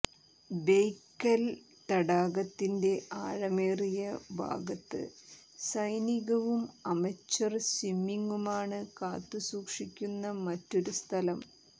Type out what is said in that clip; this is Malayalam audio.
ബെയ്ക്കൽ തടാകത്തിന്റെ ആഴമേറിയ ഭാഗത്ത് സൈനികവും അമച്വർ സ്വിമ്മിങ്ങുമാണ് കാത്തുസൂക്ഷിക്കുന്ന മറ്റൊരു സ്ഥലം